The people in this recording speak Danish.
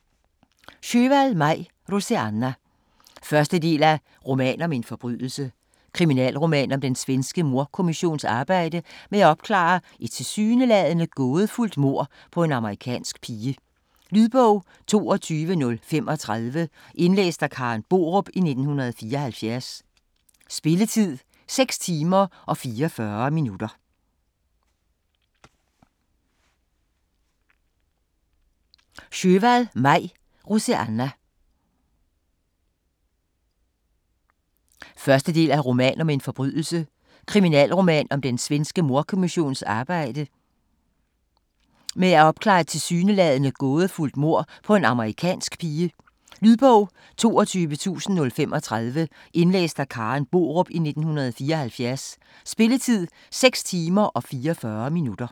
Sjöwall, Maj: Roseanna 1. del af Roman om en forbrydelse. Kriminalroman om den svenske mordkommissions arbejde med at opklare et tilsyneladende gådefuldt mord på en amerikansk pige. Lydbog 22035 Indlæst af Karen Borup, 1974. Spilletid: 6 timer, 44 minutter.